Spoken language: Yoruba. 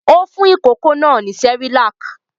Ó fún ìkókó náà ní Cerelac?